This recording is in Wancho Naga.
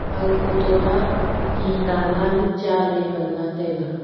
aga photo ma ti nala nu cha ley nganla taiga.